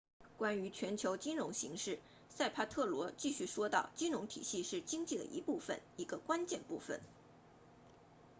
关于全球金融形势萨帕特罗继续说道金融体系是经济的一部分一个关键部分